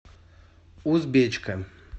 узбечка